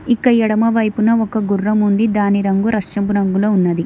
ఇక ఎడమ వైపున ఒక గుర్రం ఉంది దాని రంగు రష్యపు రంగులో ఉన్నది.